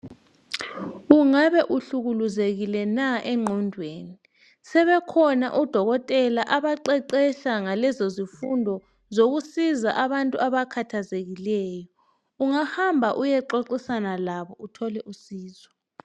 Ungabe uhlukuluzekile na engqondweni? Sebekhona odokotela abaqeqesha ngalezozifundo, zokusiza abantu abakhathazekileyo. Ungahamba uyexoxisana labo. Uthole usizo.